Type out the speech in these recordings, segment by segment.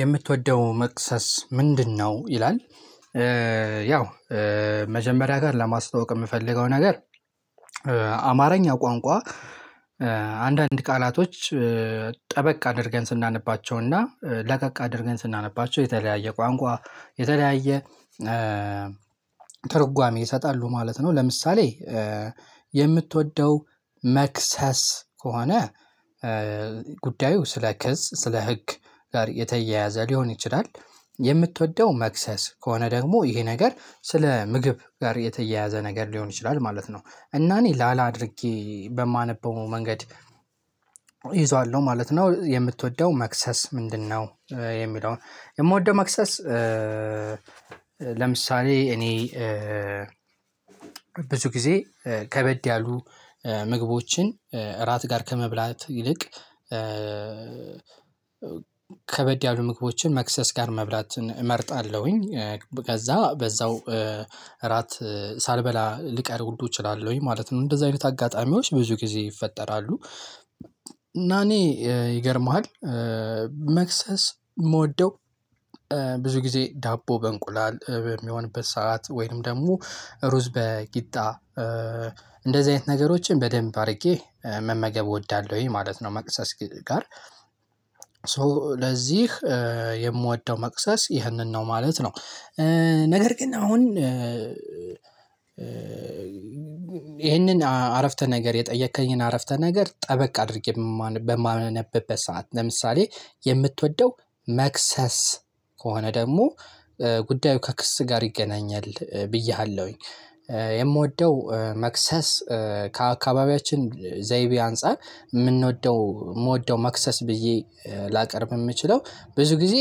የምትወደው መቅሰስ ምንድነው? ይላል ያው መጀመሪያ ጋር ለማስተዋወቅ የምፈልገው ነገር አማርኛ ቋንቋ አንዳንድ ቃላቶች ጠበቅ አድርገን ስናነባቸውና ለቀቅ አድርገን ስናነባቸው የተለያየ ቋንቋ የተለያየ ትርጓሜ ይሰጣሉ ማለት ነው። ለምሳሌ የምትወደው መክሰስ ከሆነ ጉዳዩ ስለ ክስ ስለ ህግ ጋር የተያያዘ ሊሆን ይችላል። የምትወደው መክሰስ ከሆነ ደግሞ ይሄ ነገር ስለ ምግብ ጋር የተያያዘ ነገር ሊሆን ይችላል ማለት ነው። እና እኔ ላላ አድርጌ በማነበው መንገድ ነው ማለት ነው። የምትወደው መክሰስ ምንድነው? የሚለውን የምወደው መክሰስ ለምሳሌ እኔ ብዙ ጊዜ ከበድ ያሉ ምግቦችን እራት ጋር ከመብላት ይልቅ ከበድ ያሉ ምግቦችን መክሰስ ጋር መብላት እመርጣለሁኝ። ከዛ በዛው እራት ሳልበላ ልቀር ሁሉ እችላለሁኝ ማለት ነው እንደዛ አይነት አጋጣሚዎች ብዙ ጊዜ ይፈጠራሉ። እና እኔ ይገርምሃል መክሰስ የምወደው ብዙ ጊዜ ዳቦ በእንቁላል የሚሆንበት ሰዓት ወይንም ደግሞ ሩዝ በቂጣ እንደዚህ አይነት ነገሮችን በደንብ አድርጌ መመገብ እወዳለሁኝ ማለት ነው። መቅሰስ ጋር ሶ ለዚህ የምወደው መቅሰስ ይህንን ነው ማለት ነው። ነገር ግን አሁን ይሄንን አረፍተ ነገር የጠየከኝን አረፍተ ነገር ጠበቅ አድርጌ በማነበበት ሰዓት ለምሳሌ የምትወደው መክሰስ ከሆነ ደግሞ ጉዳዩ ከክስ ጋር ይገናኛል ብዬሃለሁኝ። የምወደው መክሰስ ከአካባቢያችን ዘይቤ አንፃር የምንወደው የምወደው መክሰስ ብዬ ላቀርብ የምችለው ብዙ ጊዜ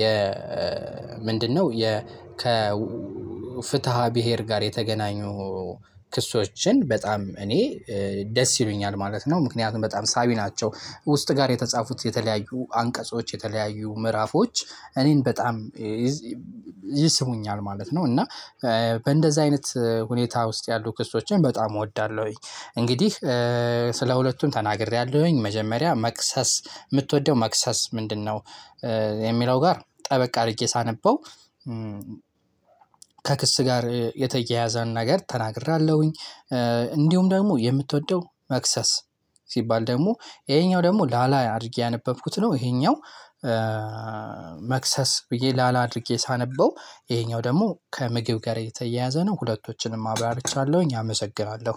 የ ምንድነው? የ ከ ፍትሃ ብሄር ጋር የተገናኙ ክሶችን በጣም እኔ ደስ ይሉኛል ማለት ነው። ምክንያቱም በጣም ሳቢ ናቸው ውስጥ ጋር የተጻፉት የተለያዩ አንቀጾች የተለያዩ ምዕራፎች እኔን በጣም ይስቡኛል ማለት ነው። እና በእንደዛ አይነት ሁኔታ ውስጥ ያሉ ክስቶችን በጣም እወዳለሁኝ። እንግዲህ ስለ ሁለቱም ተናግሬያለሁኝ። መጀመሪያ መቅሰስ የምትወደው መቅሰስ ምንድነው? የሚለው ጋር ጠበቅ አድርጌ ሳነበው ከክስ ጋር የተያያዘን ነገር ተናግሬያለሁኝ። እንዲሁም ደግሞ የምትወደው መክሰስ ሲባል ደግሞ ይሄኛው ደግሞ ላላ አድርጌ ያነበብኩት ነው ይሄኛው መክሰስ ብዬ ላላ አድርጌ ሳነበው ይሄኛው ደግሞ ከምግብ ጋር የተያያዘ ነው። ሁለቶችንም አብራርቻለሁኝ አመሰግናለሁ።